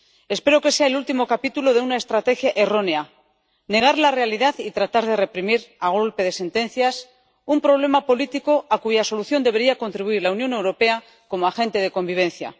Espero que sea el último capítulo de una estrategia errónea negar la realidad y tratar de reprimir a golpe de sentencias un problema político a cuya solución debería contribuir la Unión Europea como agente de convivencia.